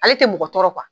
Ale tɛ mɔgɔ tɔɔrɔ